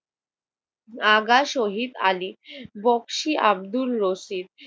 Aga Shahid Ali, Bakshi Abdur Rashid.